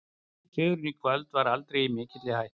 Sigurinn í kvöld var aldrei í mikilli hættu.